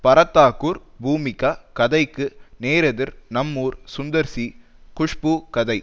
பரத்தாகூர் பூமிகா கதைக்கு நேரெதிர் நம்மூர் சுந்தர் சி குஷ்பு கதை